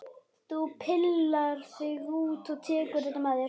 Þú pillar þig út og tekur þetta með þér!